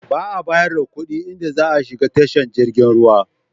Ba a bayar da kuɗi idan za a shiga tashar jirgin ruwa.